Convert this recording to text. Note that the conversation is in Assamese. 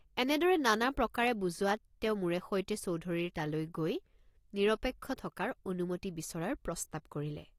এনেদৰে নানা প্ৰকাৰে বুজোৱাত তেওঁ মোৰে সৈতে চৌধুৰীৰ তালৈ গৈ নিৰপেক্ষ থকাৰ অনুমতি বিচৰাৰ প্ৰস্তাৱ কৰিলে।